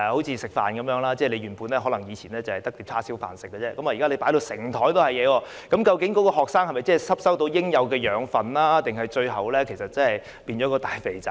正如吃飯一樣，原本以往只有叉燒飯可吃，現滿桌子不同的食物，究竟學生能否吸收到應有的養分，還是最後變成大胖子呢？